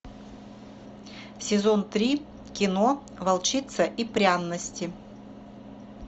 сезон три кино волчица и пряности